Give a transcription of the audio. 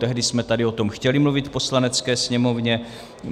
Tehdy jsme tady o tom chtěli mluvit v Poslanecké sněmovně.